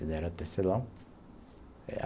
Ele era tecelão.